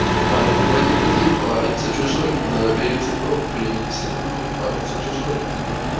парень ты пойди пойди парень за чужой набери цветов принеси домой париться чужой ты пойди по